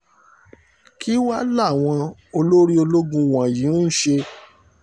kí wàá làwọn olórí ológun wọ̀nyí ń ṣe